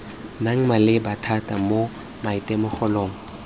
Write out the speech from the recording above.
nnang maleba thata mo maitemogelong